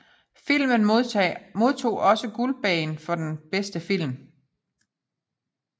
Filmen modtog også Guldbaggen for bedste film